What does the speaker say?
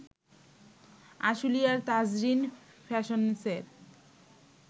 আশুলিয়ার তাজরিন ফ্যাশন্সের